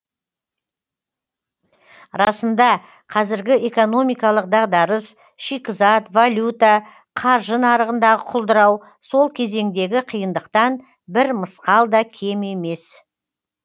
расында қазіргі экономикалық дағдарыс шикізат валюта қаржы нарығындағы құлдырау сол кезеңдегі қиындықтан бір мысқал да кем емес